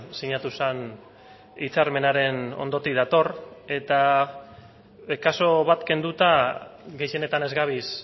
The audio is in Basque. sinatu zen hitzarmenaren ondotik dator eta kasu bat kenduta gehienetan ez gabiz